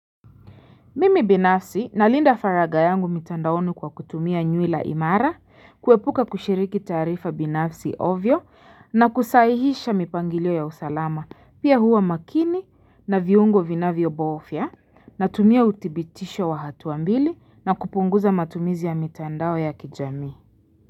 Mimi binafsi nalinda faragha yangu mtandaoni kwa kutumia nywila imara ili kuepuka kushiriki taarifa binafsi ovyo. Na kusahihisha mipangilio ya usalama pia huwa makini na viungo vinavyobofya na tumia uthibitisho wa hatua mbili na kupunguza matumizi ya mitandao ya kijamii.